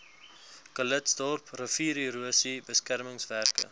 calitzdorp riviererosie beskermingswerke